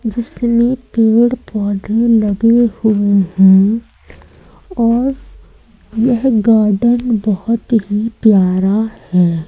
जिसमें पेड़ पौधे लगे हुए हैं और यह गार्डन बहोत ही प्यारा है।